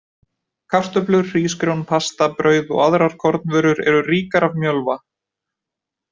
Kartöflur, hrísgrjón, pasta, brauð og aðrar kornvörur eru ríkar af mjölva.